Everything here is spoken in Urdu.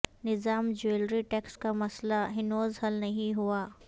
نظام جیولری ٹیکس کا مسئلہ ہنوز حل نہیں ہوا